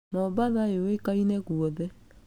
Mombatha ĩũĩkaine guothe.